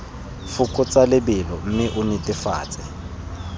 fokotsa lebelo mme o netefatse